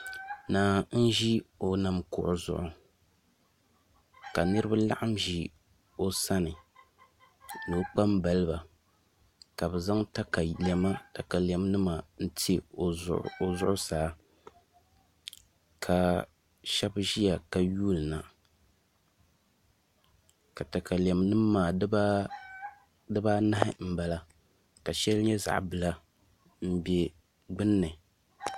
Naa n ʒi o nam kuɣu zuɣu ka niraba laɣam ʒi o sani ni o kpambaliba ka bi zaŋ katalɛm nima n ti o zuɣusaa ka shab ʒiya ka yuundi na ka katalɛn nim maa dibanahi n bala ka shɛli nyɛ zaɣ bila n bɛ gbunni